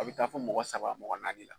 A bɛ taa fo mɔgɔ saba mɔgɔ naani na